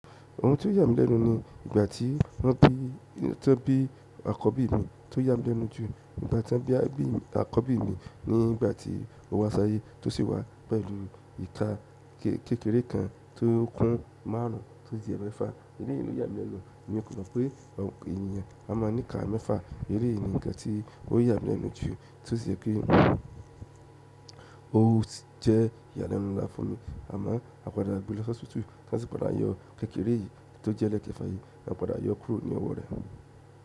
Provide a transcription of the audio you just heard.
Ohun tó yà mí lẹ́nu ni ìgbà tí wọ́n bí àkọ́bí mi, tó yà mí lẹ́nu jù ìgbà tí wọ́n bí àkọ́bí mi ní ìgbà tí ó wá sáyé tó sì wá pẹ̀lú ìka kékeré kan tó kún márùn tó jẹ́ ẹlẹ́fà, eré yìí ló yà mí lẹ́nu. Ní òpòlọ́pọ̀ pé ènìyàn a máa ní ìka mẹ́fà, eré yìí ni nǹkan tí ó yà mí lẹ́nu jù, torí pé òun jẹ́ ìyàlẹ́nu láfùn mi, àmọ́ a padà gbé lọ sí hósípítà láti padà yọ kékeré yìí tó jẹ́ ẹlẹ́fà yìí, a padà yọ kúrò ní ọwọ́ rẹ̀.